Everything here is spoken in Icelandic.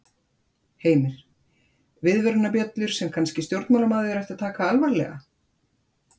Heimir: Viðvörunarbjöllur sem að kannski stjórnmálamaður ætti að taka alvarlega?